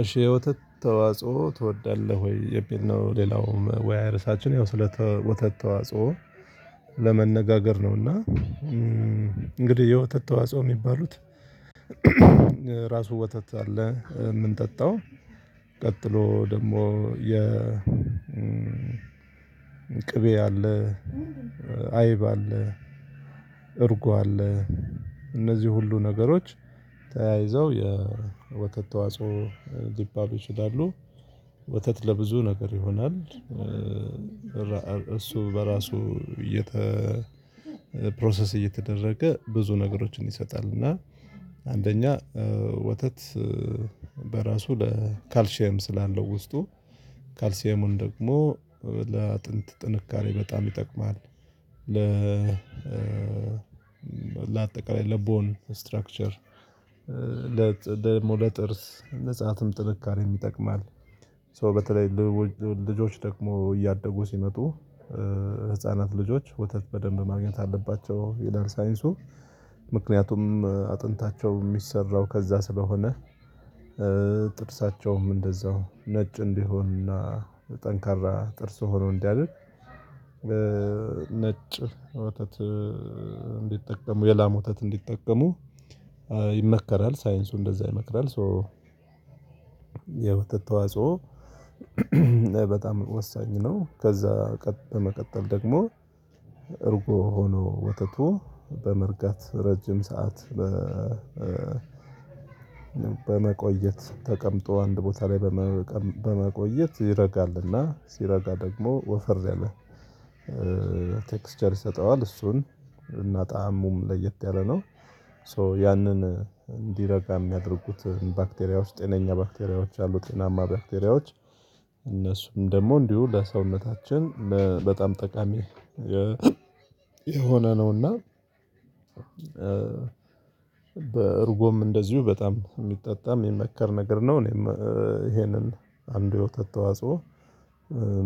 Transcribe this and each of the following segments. እሺ የወተት ተዋጽኦ ትወዳለህ ወይ የሚል ነው? ሌላው መወያያ ርዕሳችን ያው ስለ ወተት ተዋጽኦ ለመነጋገር ነው። እና እንግዲህ የወተት ተዋጽኦ የሚባሉት ራሱ ወተት አለ የምንጠጣው። ቀጥሎ ደግሞ የ ቅቤ አለ አይብ አለ እርጎ አለ እነዚህ ሁሉ ነገሮች ተያይዘው የወተት ተዋጽኦ ሊባሉ ይችላሉ። ወተት ለብዙ ነገር ይሆናል። እሱ በራሱ የተ ፕሮሰስ እየተደረገ ብዙ ነገሮችን ይሰጣል እና አንደኛ ወተት በራሱ ለካልሺየም ስላለው ውስጡ ካልሲየሙን ደግሞ ለአጥንት ጥንካሬ በጣም ይጠቅማል። ለአጠቃላይ ለቦን ስትራክቸር ደሞ ለጥርስ ንጻትም ጥንካሬም ይጠቅማል። ሶ በተለይ ልጆች ደግሞ እያደጉ ሲመጡ ህፃናት ልጆች ወተት በደንብ ማግኘት አለባቸው ይላል ሳይንሱ ምክንያቱም አጥንታቸው ሚሰራው ከዛ ስለሆነ። ጥርሳቸውም እንደዛው ነጭ እንዲሆንና ጠንካራ ጥርስ ሆኖ እንዲያድግ። ነጭ ወተት እንዲጠቀሙ የላም ወተት እንዲጠቀሙ ይመከራል ሳይንሱ እንደዛ ይመክራል። ሶ የወተት ተዋጽኦ በጣም ወሳኝ ነው። ከዛ በመቀጠል ደግሞ እርጎ ሆኖ ወተቱ በመርጋት ረጅም ሰዓት በ በመቆየት ተቀምጦ አንድ ቦታ ላይ በመቆየት ይረጋልና ሲረጋ ደግሞ ወፈር ያለ ቴክስቸር ይሰጠዋል እሱን እና ጣእሙም ለየት ያለ ነው። ሶ ያንን እንዲረጋ የሚያደርጉት ባክቴሪያዎች ጤነኛ ባክቴሪያዎች አሉ ጤናማ ባክቴሪያዎች እነሱም ደግሞ እንዲሁ ለሰውነታችን በጣም ጠቃሚ የሆነ ነውና። በእርጎም እንደዚሁ በጣም የሚጠጣ የሚመከር ነገር ነው። እኔም ይሄንን አንዱ የውተት ተዋጽኦ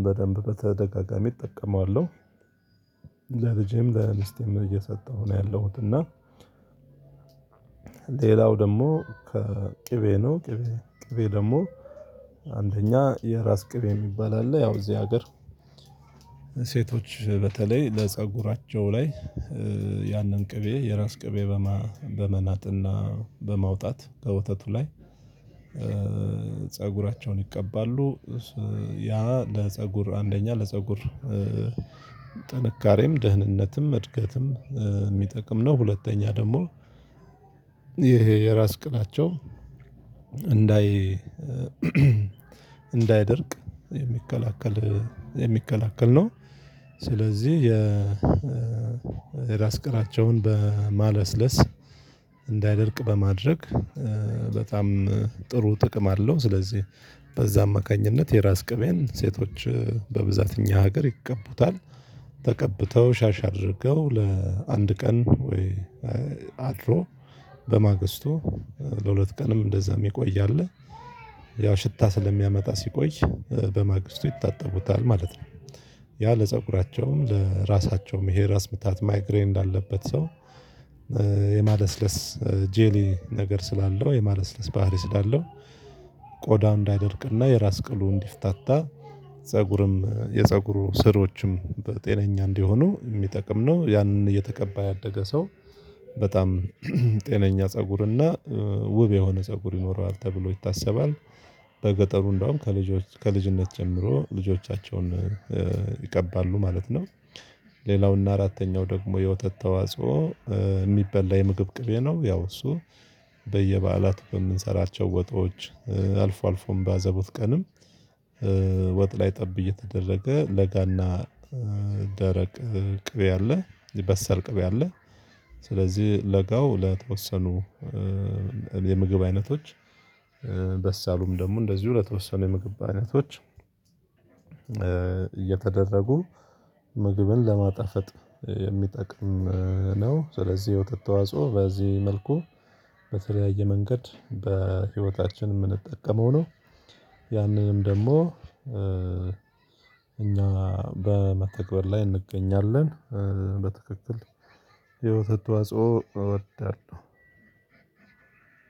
በደንብ በተደጋጋሚ እጠቀማለሁ። ለልጄም ለሚስቴም እየሰጠሁ ነው ያለሁት እና። ሌላው ደግሞ ከቅቤ ነው ቅቤ ቅቤ ደግሞ አንደኛ የራስ ቅቤ የሚባል አለ ያው እዚህ ሀገር ሴቶች በተለይ ለፀጉራቸው ላይ ያንን ቅቤ የራስ ቅቤ በመናጥና በማውጣት ከወተቱ ላይ ፀጉራቸውን ይቀባሉ። ያ ለፀጉር አንደኛ ለፀጉር ጥንካሬም ደህንነትም እድገትም የሚጠቅም ነው። ሁለተኛ ደግሞ ይሄ የራስ ቅላቸው እንዳይ እንዳይደርቅ የሚከላከል የሚከላከል ነው። ስለዚህ የራስ ቅላቸውን በማለስለስ እንዳይደርቅ በማድረግ በጣም ጥሩ ጥቅም አለው። ስለዚህ በዛ አማካኝነት የራስ ቅቤን ሴቶች በብዛት እኛ ሀገር ይቀቡታል ተቀብተው ሻሽ አድርገው ለአንድ ቀን ወይ አድሮ በማግስቱ ለሁለት ቀንም እንደዛም የሚቆይ አለ። ያው ሽታ ስለሚያመጣ ሲቆይ በማግስቱ ይታጠቡታል ማለት ነው። ያ ለፀጉራቸውም ለራሳቸውም ይሄ ራስ ምታት ማይግሬን እንዳለበት ሰው የማለስለስ ጄሊ ነገር ስላለው የማለስለስ ባህሪ ስላለው ቆዳ እንዳይደርቅና የራስ ቅሉ እንዲፍታታ ፀጉርም የፀጉሩ ስሮችም ጤነኛ እንዲሆኑ የሚጠቅም ነው። ያንን እየተቀባ ያደገ ሰው በጣም ጤነኛ ፀጉርና ውብ የሆነ ፀጉር ይኖረዋል ተብሎ ይታሰባል። በገጠሩ እንደውም ከልጅነት ጀምሮ ልጆቻቸውን ይቀባሉ ማለት ነው። ሌላው እና አራተኛው ደግሞ የወተት ተዋጽኦ የሚበላ የምግብ ቅቤ ነው። ያው እሱ በምንሰራቸው ወጦች አልፎ አልፎም በአዘቦት ቀንም ወጥ ላይ ጠብ እየተደረገ ለጋና ደረቅ ቅቤ ያለ የበሰር ቅብ ያለ ስለዚህ ለጋው ለተወሰኑ የምግብ አይነቶች በሳሉም ደግሞ እንደዚሁ ለተወሰኑ የምግብ አይነቶች እየተደረጉ ምግብን ለማጣፈጥ የሚጠቅም ነው። ስለዚህ ወተት ተዋጽኦ በዚህ መልኩ በተለያየ መንገድ በህይወታችን የምንጠቀመው ነው። ያንንም ደግሞ እኛ በመተግበር ላይ እንገኛለን። በትክክል የወተት ተዋጽኦ እወዳለሁ።